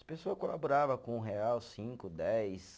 As pessoa colaborava com um real, cinco, dez